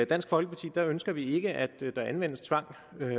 dansk folkeparti ønsker vi ikke at der anvendes tvang